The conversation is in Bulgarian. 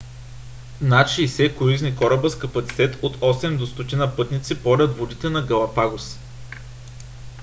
над 60 круизни кораба с капацитет от 8 до 100 пътници порят водите на галапагос